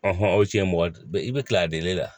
aw cɛ ye mɔgɔ i be kila a la